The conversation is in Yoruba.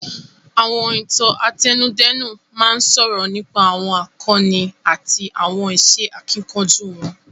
Àwọn Ìtàn àtẹnudẹ́nu máa ń sọ̀rọ̀ nípa àwọn àkọni àti àwọn iṣẹ́ akíkanjú wọn